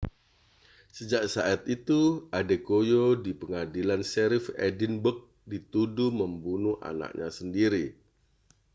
sejak saat itu adekoya di pengadilan sherrif edinburgh dituduh membunuh anaknya sendiri